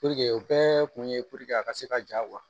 o bɛɛ kun ye a ka se ka ja